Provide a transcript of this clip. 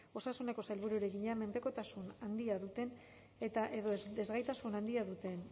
osasuneko sailburuari egina menpekotasun handia duten eta edo desgaitasun handia duten